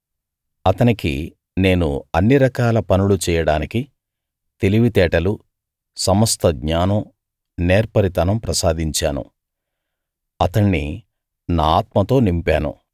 అతనికి నేను అన్ని రకాల పనులు చెయ్యడానికి తెలివితేటలు సమస్త జ్ఞానం నేర్పరితనం ప్రసాదించాను అతణ్ణి నా ఆత్మతో నింపాను